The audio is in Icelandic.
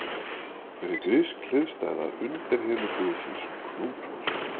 Hver er grísk hliðstæða undirheimaguðsins Plútós?